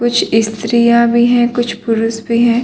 कुछ स्त्रियाँ भी हैं कुछ पुरुस भी हैं।